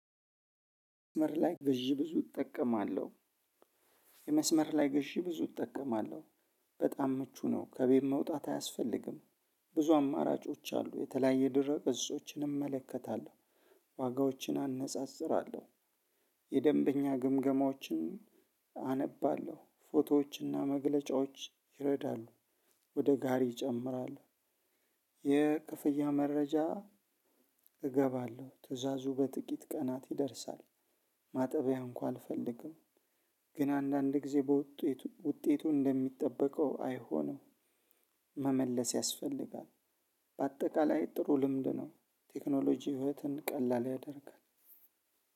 መስመር ላይ ግዢ ብዙ እጠቀማለሁ። የመስመር ላይ ግዢ ብዙ እጠቀማለሁ። በጣም ምቹ ነው ከቤት መውጣት አያስፈልግም። ብዙ አማራጮች አሉ የተለያየ ድረ ገጾችን እመለከታለሁ። ዋጋዎችን አነጻጽራለሁ የደንበኛ ግምገማዎችን አነባለሁ ፎቶዎችና መግለጫዎች ይረዳሉ። ወደ ጋሪ ይጨምራል። የክፍያ መረጃ እገባለሁ ትእዛዙ በጥቂት ቀናት ይደርሳል። ማጠቢያ እንኳ አልፈልግም። ግን አንዳንድ ጊዜ ውጤቱ እንደተጠበቀው አይሆንም። መመለስ ያስፈልጋል። በአጠቃላይ ጥሩ ልምድ ነው። ቴክኖሎጂ ህይወትን ቀላል ያደርጋል።